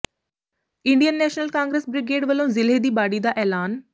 Indian National Congress brigade ਵੱਲੋਂ ਜ਼ਿਲ੍ਹੇ ਦੀ ਬਾਡੀ ਦਾ ਐਲਾਨ